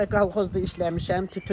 Qabaqda kolxozda işləmişəm.